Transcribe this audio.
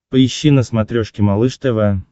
поищи на смотрешке малыш тв